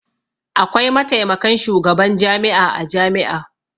Akwai mataimakan shugaban jami'a a jami'a.